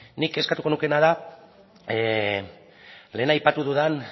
nik eskatuko nukeena da lehen aipatu dudan